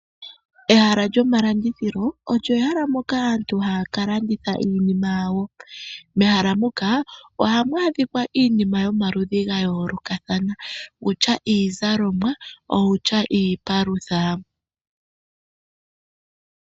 Ehala lyomalandithilo olyo ehala mokaaantu haya ka landitha iinima yawo. Mehala moka ohamu adhika iinima yomaludhi ga yoolokathana, wutya iizalomwa, owutya iipalutha.